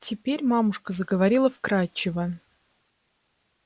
теперь мамушка заговорила вкрадчиво